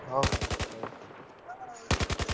ହଉ ହଉ ହଉ ଠିକ ଅଛି।